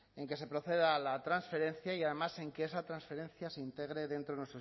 en que se proceda a la transferencia y además en que esa transferencia se integre dentro de